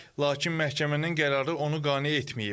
Lakin məhkəmənin qərarı onu qane etməyib.